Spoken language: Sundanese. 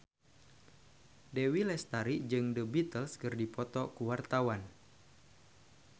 Dewi Lestari jeung The Beatles keur dipoto ku wartawan